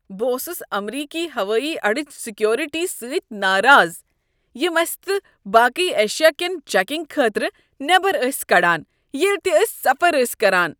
بہٕ اوسس امریکی ہوٲیی اڈچہ سیکورٹی سۭتۍ ناراض یم اسِہ تہٕ باقٕی ایشیاکین چیکنگ خٲطرٕ نیبر ٲسۍ کڑان ییٚلہ تِہ أسۍ سفر ٲسۍ کران۔